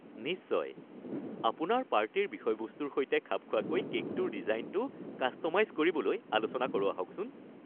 নিশ্চয়! আপোনাৰ পাৰ্টিৰ বিষয়বস্তুৰ সৈতে খাপ খোৱাকৈ কে'কটোৰ ডিজাইনটো কাষ্ট'মাইজ কৰিবলৈ আলোচনা কৰোঁ আহকচোন।